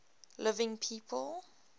living people